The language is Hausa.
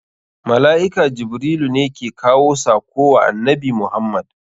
Mala'ika Jibrilu ne ke kawo sako wa annabi Muhammad.